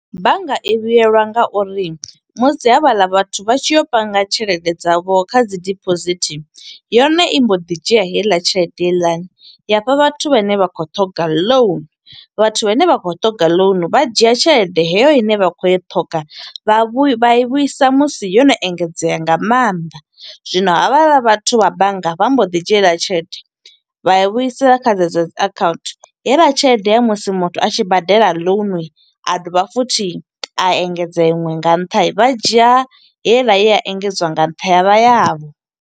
Bannga i vhuyelwa nga uri musi havhaḽa vhathu vha tshi yo panga tshelede dza vho kha dzi deposit, yone i mbo ḓi dzhia heiḽa tshelede heiḽani ya hafha vhathu vhane vha khou ṱhoga loan. Vhathu vhane vha khou ṱhonga loan, vha dzhia tshelede heyo ine vha khou i ṱhoga, vha vhu vha i vhuisa musi yo no engedzea nga mannḓa. Zwino havhaḽa vhathu vha bannga vha mbo ḓi dzhia heiḽa tshelede, vha yi vhuisa kha dze dzo dzi account. Heiḽa tshelede ya musi muthu a tshi badela loan, a dovha futhi a engedza iṅwe nga nṱha vha dzhia heiḽa ye a engedzwa nga nṱha ya vha yavho.